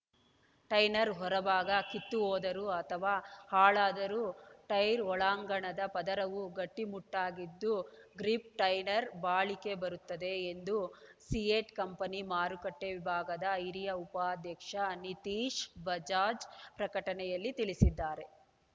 ಟೈನರ್‌ ಹೊರ ಭಾಗ ಕಿತ್ತು ಹೋದರೂ ಅಥವಾ ಹಾಳಾದರೂ ಟೈರ್ ಒಳಾಂಗಣದ ಪದರವು ಗಟ್ಟಿಮುಟ್ಟಾಗಿದ್ದು ಗ್ರಿಪ್ ಟೈನರ್‌ ಬಾಳಿಕೆ ಬರುತ್ತದೆ ಎಂದು ಸಿಯೆಟ್ ಕಂಪನಿ ಮಾರುಕಟ್ಟೆ ವಿಭಾಗದ ಹಿರಿಯ ಉಪಾಧ್ಯಕ್ಷ ನಿತೀಶ್ ಬಜಾಜ್ ಪ್ರಕಟಣೆಯಲ್ಲಿ ತಿಳಿಸಿದ್ದಾರೆ